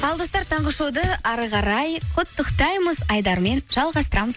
ал достар таңғы шоуды әрі қарай құттықтаймыз айдарымен жалғастырамыз